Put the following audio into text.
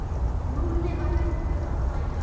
Lúlli var hættur að hlæja.